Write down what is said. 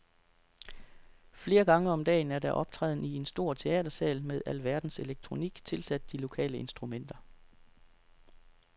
Flere gange om dagen er der optræden i en stor teatersal med alverdens elektronik tilsat de lokale instrumenter.